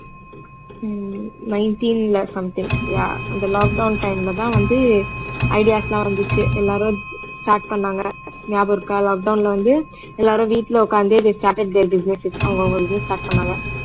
ஹம் nineteen ல something yeah அந்த lockdown time ல தான் வந்து ideas லாம் வந்துச்சு எல்லாரும் start பண்ணாங்க ஞாபகம் இருக்கா lockdown ல வந்து எல்லாரும் வீட்ல உட்கார்ந்தே they started their businesses அவங்க அவங்களதியும் start பண்ணாங்க